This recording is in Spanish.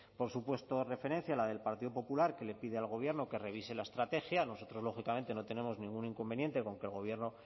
por supuesto referencia a la del partido popular que le pide al gobierno que revise la estrategia nosotros lógicamente no tenemos ningún inconveniente con que el gobierno